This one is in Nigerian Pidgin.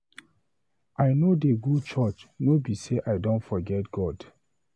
I know dey go church no be say I don forget God